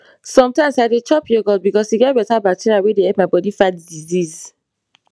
sometimes i dey chop yogurt because e get better bacteria wey dey help my body fight disease